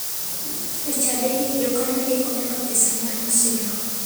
E chadigi, jokanyo ndiko nyaka pesa mar masira.